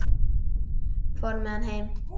Fór með hann heim.